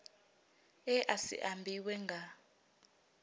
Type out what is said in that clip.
e a si ambiwe nga